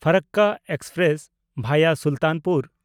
ᱯᱷᱟᱨᱟᱠᱠᱟ express (ᱵᱷᱟᱭᱟ ᱥᱩᱞᱛᱟᱱᱯᱩᱨ)